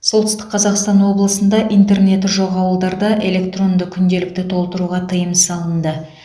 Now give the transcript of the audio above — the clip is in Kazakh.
солтүстік қазақстан облысында интернеті жоқ ауылдарда электронды күнделікті толтыруға тыйым салынды